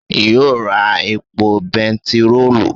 yio ra epo bẹntiroolu?